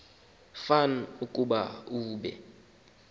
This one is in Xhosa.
fan ukuba be